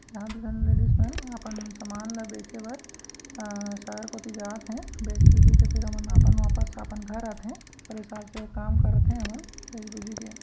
यहाँ दू झन लेडीज मन अपन सामान ल बेचे बर अअ शहर कोति जात हे बेच बोची फिर एमन अपन वापस अपन घर आथे ओकर हिसाब से काम करथे एमन बेच बोची के --